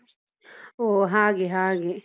ಹೊ ಹಾಗೆ ಹಾಗೆ.